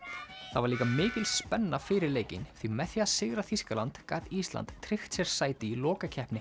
það var líka mikil spenna fyrir leikinn því með því að sigra Þýskaland gat Ísland tryggt sér sæti í lokakeppni